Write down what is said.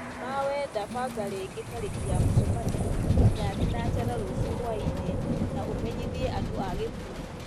ma wenda banga rĩngĩ tarĩki ya mũcemanio nyinya thinacara rũciũ hwaĩ-inĩ na ũmenyithia andũ a gĩkundi